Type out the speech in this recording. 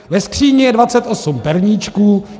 Ve skříni je 28 perníčků.